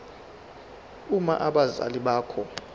uma abazali bakho